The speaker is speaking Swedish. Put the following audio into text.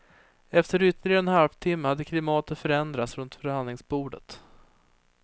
Efter ytterligare en halvtimma hade klimatet förändrats runt förhandlingsbordet.